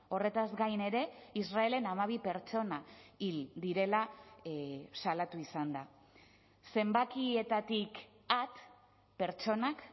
horretaz gain ere israelen hamabi pertsona hil direla salatu izan da zenbakietatik at pertsonak